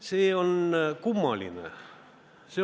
See on kummaline.